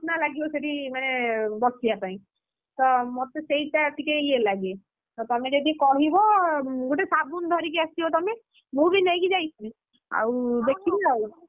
ଲାଗିବ ସେଠି ମାନେ ବସିବା ପାଇଁ, ତ ମତେ ସେଇଟା ଟିକେ ଇଏ ଲାଗେ, ତମେ ଯଦି କହିବ ଗୋଟେ ସାବୁନ ଧରିକି ଆସିବ ତମେ, ମୁଁ ବି ନେଇକି ଯାଇଛି, ଆଉ ଦେଖିବି ଆଉ,